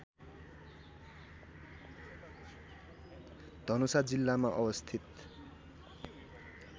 धनुषा जिल्लामा अवस्थित